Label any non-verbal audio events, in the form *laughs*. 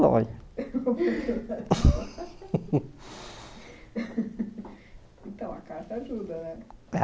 Longe *laughs* Então, a carta ajuda, né?